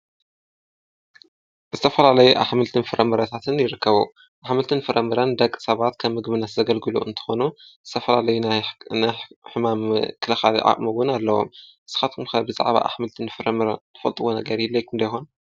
ዝተፈላለዩ አሕምልትን ፍረምረታትን ይርከቡ። ኣሕምልትን ፍረምረን ንደቂሰባት ከም ምግብነት ዘግልግሉ እንትኾኑ ዝተፈላለዩ ናይ ሕማም ምክልኻል ዓቅሚ እዉን አለዎም። ንስካትኩም ከ ብዛዕባ አሕምልትን ፍረምረን ትፈልጥዎ ነገር ይህሌኩም ዶ ይኮን?